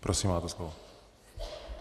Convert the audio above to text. Prosím máte slovo.